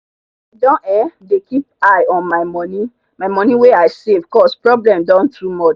i don um dey keep eye on my money my money wey i save cause problem don too much